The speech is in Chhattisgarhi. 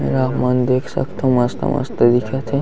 आपमन देख सखतो मस्त - मस्त दिखत हे।